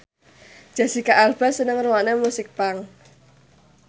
Jesicca Alba seneng ngrungokne musik punk